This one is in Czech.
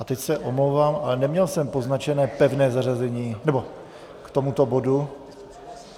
A teď se omlouvám, ale neměl jsem poznačené pevné zařazení k tomuto bodu.